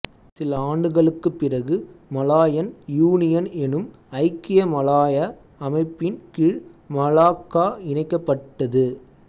சில ஆண்டுகளுக்குப் பிறகு மலாயன் யூனியன் எனும் ஐக்கிய மலாயா அமைப்பின் கீழ் மலாக்கா இணைக்கப் பட்டது